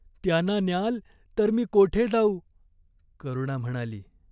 "त्यांना न्याल तर मी कोठे जाऊ!" करुणा म्हणाली.